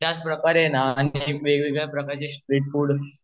त्याच प्रकारे ना अनेक वेग वेगळ्या प्रकारचे स्ट्रीट फुड